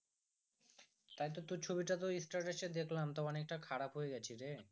তাই তো তোর ছবিটা তো status এ দেখলাম তা অনেক টা খারাপ হয়ে গেছিরে